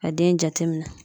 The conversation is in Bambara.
Ka den jateminɛ